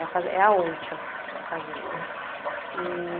A fazen, é a onça, a fazenda. E...